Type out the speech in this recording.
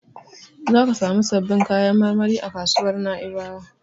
Zaka samu sabbin kayan marmari a kasuwar Na'ibawa.